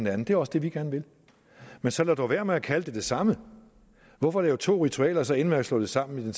andet det er også det vi gerne vil men så lad dog være med at kalde det det samme hvorfor lave to ritualer og så ende med at slå dem sammen